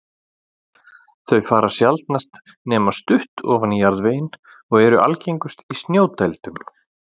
Þau fara sjaldnast nema stutt ofan í jarðveginn og eru algengust í snjódældum.